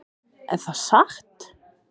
Er það satt?